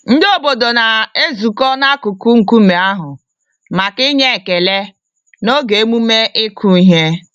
Ndị obodo na-ezukọ n'akụkụ nkume ahụ, maka inye ekele, n'oge emume ịkụ ihe.